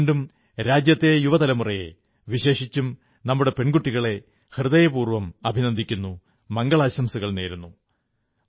ഞാൻ വീണ്ടും രാജ്യത്തെ യുവതലമുറയെ വിശേഷിച്ചും നമ്മുടെ പെൺകുട്ടികളെ ഹൃദയപൂർവ്വം അഭിനന്ദിക്കുു മംഗളാശംസകൾ നേരുന്നു